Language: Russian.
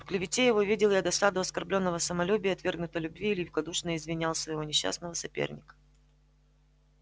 в клевете его видел я досаду оскорблённого самолюбия и отвергнутой любви и великодушно извинял своего несчастного соперника